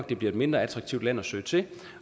det bliver et mindre attraktivt land at søge til